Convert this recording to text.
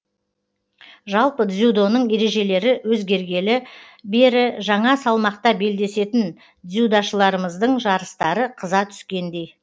жалпы дзюдоның ережелері өзгергелі бері жаңа салмақта белдесетін дзюдошыларымыздың жарыстары қыза түскендей